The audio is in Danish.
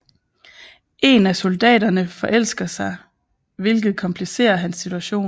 En af soldaterene forelsker hvilket komplicerer hans situation